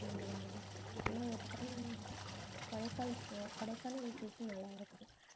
இல்லையா ஒரு time கொடைக்கால்~ அஹ் கொடைக்கானல் trip நல்லா இருக்கும்